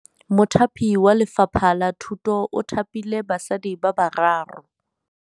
Mothapi wa Lefapha la Thutô o thapile basadi ba ba raro.